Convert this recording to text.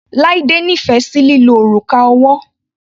Laide nífẹ̀ sí lílo òrùka ọwọ́.